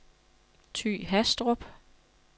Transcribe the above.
Ty Hastrup